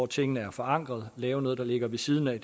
tingene er forankret laver man noget der ligger ved siden af